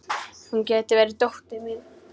Hún gæti verið dóttir mín.